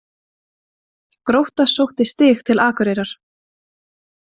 Grótta sótti stig til Akureyrar